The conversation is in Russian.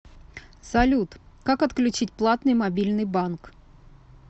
салют как отключить платный мобильный банк